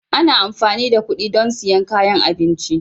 Ana amfani da kuɗi don siyan kayan abinci